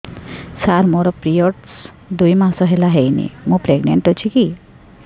ସାର ମୋର ପିରୀଅଡ଼ସ ଦୁଇ ମାସ ହେଲା ହେଇନି ମୁ ପ୍ରେଗନାଂଟ ଅଛି କି